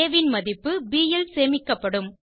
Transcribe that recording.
ஆ ன் மதிப்பு ப் ல் சேமிக்கப்படும்